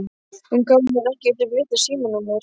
Hún gaf mér ekkert upp vitlaust símanúmer